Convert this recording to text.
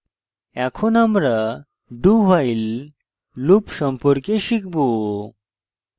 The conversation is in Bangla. এখন আমরা dowhile loop সম্পর্কে শিখব